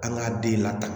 An k'a den lataa